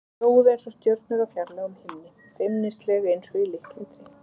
Þau glóðu einsog stjörnur á fjarlægum himni, feimnisleg einsog í litlum dreng.